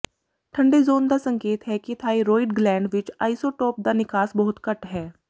ਠੰਡੇ ਜ਼ੋਨ ਦਾ ਸੰਕੇਤ ਹੈ ਕਿ ਥਾਈਰੋਇਡ ਗਲੈਂਡ ਵਿਚ ਆਈਸੋਟੋਪ ਦਾ ਨਿਕਾਸ ਬਹੁਤ ਘੱਟ ਹੈ